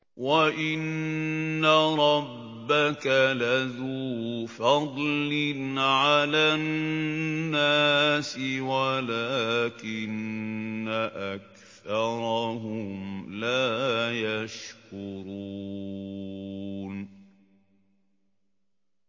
وَإِنَّ رَبَّكَ لَذُو فَضْلٍ عَلَى النَّاسِ وَلَٰكِنَّ أَكْثَرَهُمْ لَا يَشْكُرُونَ